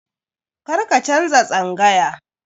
Karka canza tsangaya.